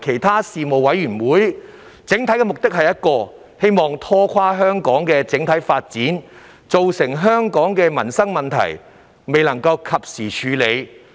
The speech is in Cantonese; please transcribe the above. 他們的整體目的只有一個，就是要拖垮香港的整體發展，令許多民生問題不能及時獲得處理。